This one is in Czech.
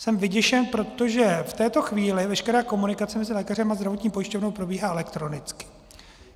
Jsem vyděšen, protože v této chvíli veškerá komunikace mezi lékařem a zdravotní pojišťovnou probíhá elektronicky.